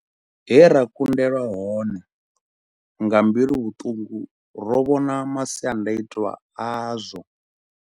He ra kundelwa hone, nga mbiluvhuṱungu, ro vhona masiandaitwa azwo.